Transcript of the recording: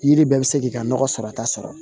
Yiri bɛɛ bɛ se k'i ka nɔgɔ sɔrɔta sɔrɔ